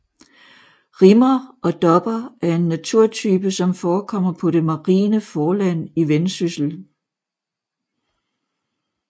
Rimmer og dopper er en naturtype som forekommer på det marine forland i Vendsyssel